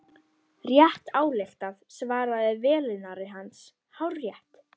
Rétt ályktað svaraði velunnari hans, hárrétt.